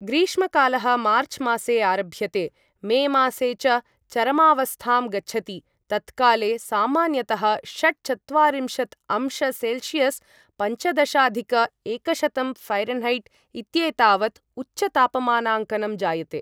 ग्रीष्मकालः मार्चमासे आरभ्यते, मेमासे च चरमावस्थां गच्छति तत्काले सामान्यतः षट्चत्वारिंशत् अंश सेल्सियस् पञ्चदशाधिक एकशतं फैरन्हैट् इत्येतावत् उच्चतापमानाङ्कनं जायते।